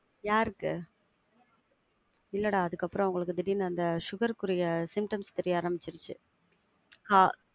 யாருக்கு? இல்லடா அதுக்கப்புறம் அவங்களுக்கு திடிரின்னு அந்த sugar க்குரிய symptoms தெரிய ஆரம்பிச்சிரிச்சி ஆஹ்